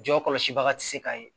Jɔ kɔlɔsi baga ti se ka ye